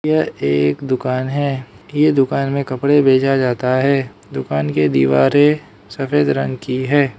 यह एक दुकान है ये दुकान में कपड़े बेचा जाता है दुकान के दीवारें सफेद रंग की है।